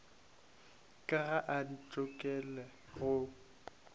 ka ga a ntokolle go